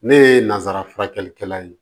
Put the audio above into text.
Ne ye nanzara furakɛlikɛla ye